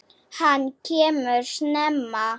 Hann kemur snemma.